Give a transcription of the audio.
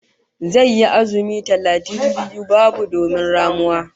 Zai yi azumi talatin biyu babu domin ramuwa